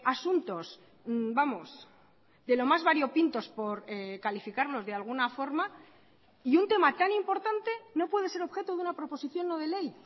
asuntos vamos de lo más variopintos por calificarlos de alguna forma y un tema tan importante no puede ser objeto de una proposición no de ley